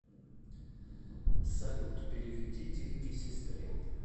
салют переведи деньги сестре